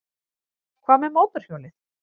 Hvað með mótorhjólið?